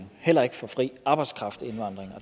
så